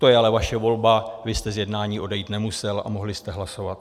To je ale vaše volba, vy jste z jednání odejít nemusel a mohli jste hlasovat.